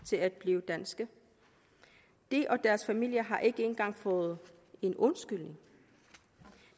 til at blive danske de og deres familie har ikke engang fået en undskyldning